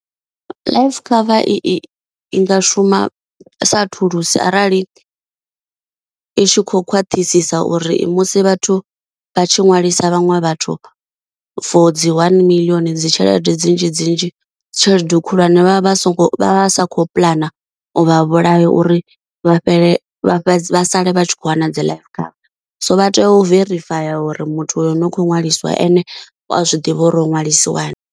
Life cover i i nga shuma sa thulusi arali i tshi kho khwaṱhisisa uri musi vhathu vha tshi ṅwalisa vhaṅwe vhathu for dzi one million dzi tshelede dzinzhi dzinzhi tshelede khulwane vha vha vha so ngo vha sa khou puḽana u vha vhulaya uri vha fhele vha sale vha tshi kho wana dzi life cover. So vha tea u verifaya uri muthu ane u kho ṅwaliswa ane u a zwiḓivha uri o ṅwalisiwa na.